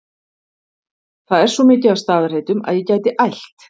það er svo mikið af staðarheitum að ég gæti ælt